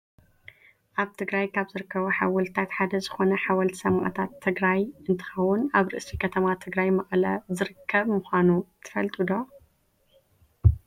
ኣብ ትግራይ ካብ ዝርከቡ ሓወልትታት ሓደ ዝኮነ ሓወልቲ ሰማእታት ትግራይ እንትከውን ኣብ ርእሲ ከተማ ትግራይ መቀለ ዝርከብ ምኳኑ ትፈልጡ ዶ ?